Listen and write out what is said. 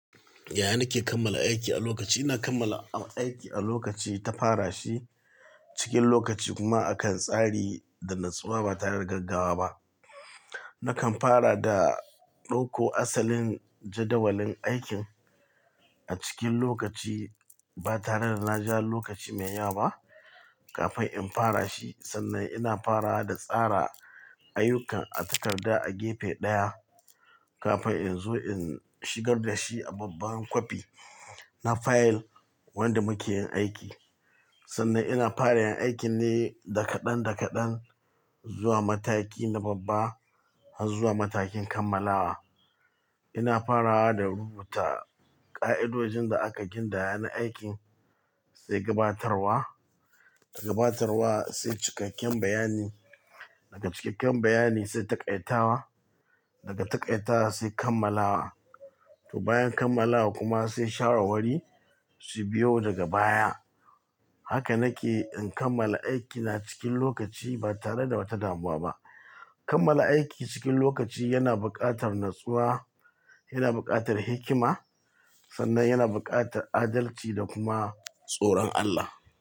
Yaya nake kammala aiki a lokaci? Ina kammala aiki a lokaci, in fara shi cikin lokaci kuma akan tsari da natsuwa ba tare da gaggawa ba. Nakan fara da ɗauko asalin jadawalin aikin a cikin lokaci ba tare da na ja lokaci mai ya ba kafin in fara shi sannan ina fara da tsara ayyukan a takarda a gefe ɗaya kafin in zo in shigar da shi a babban kwafi na fayil wanda muke yin aiki. Sannan ina fara yin aikin ne da kadan da kadan zuwa mataki na babba har zuwa matakin kammalawa ina farawa da rubuta ka'idojin da aka gindaya na aikin sai gabatarwa, daga gabatarwa sai cikakken bayani, daga cikakken bayani sai taƙaitawa, daga taƙaitawa sai kammalawa. To bayan kammalawa kuma sai share wari su biyo daga baya. Haka nake in kammala aiki na cikin lokaci ba tare da wata damuwa ba. Kammala aiki cikin lokaci yana buƙatar natsuwa, yana buƙatar hikima sannan yana buƙatar adalci da kuma tsoron Allah.